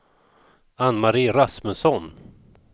Anne-Marie Rasmusson